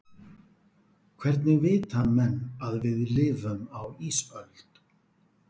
hvernig vita menn að við lifum á ísöld